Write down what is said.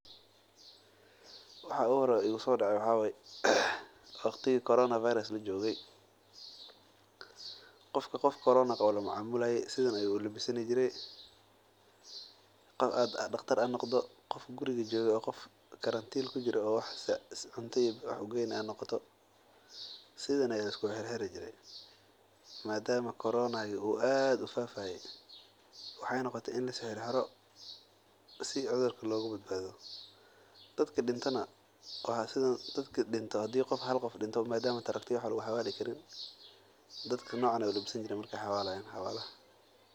Waxa uhoreyo oo igu so dacay waxa waye waqtiga corona lagu jire daqtar ha ahaado ama qof xafada joogo qofka qof xanunsan lajoogo sidan ayaa lisku xirxiri jire dadki dintana saan ayeey ulabisani jireen marki aay xawalayaan.